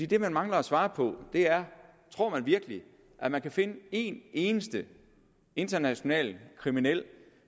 det man mangler at svare på er tror man virkelig at man kan finde en eneste international kriminel